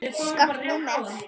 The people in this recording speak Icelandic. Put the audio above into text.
Skakkt númer.